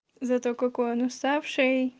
зато какой он уставший